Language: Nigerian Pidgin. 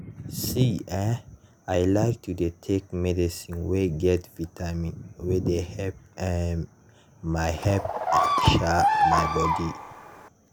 see eh i like to dey take medicine wey get vitamin wey dey help um my help um my body.